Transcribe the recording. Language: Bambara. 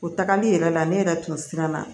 O tagali yɛrɛ la ne yɛrɛ tun siranna